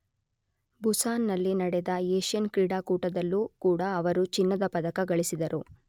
Busan ನಲ್ಲಿ ನಡೆದ Asian ಕ್ರೀಡಾಕೂಟದಲ್ಲೂ ಕೂಡ ಅವರು ಚಿನ್ನದ ಪದಕ ಗಳಿಸಿದರು.